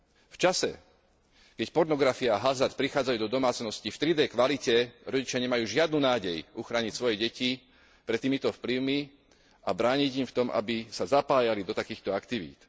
V čase, keď pornografia a hazard prichádzajú do domácností v 3D kvalite, rodičia nemajú žiadnu nádej uchrániť svoje deti pred týmito vplyvmi a brániť im v tom, aby sa zapájali do takýchto aktivít.